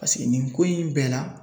Paseke nin ko in bɛɛ la